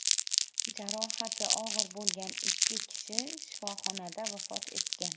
Jarohati og‘ir bo‘lgan ikki kishi shifoxonada vafot etgan.